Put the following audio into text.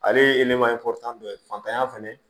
Ale ye dɔ ye fantanya fɛnɛ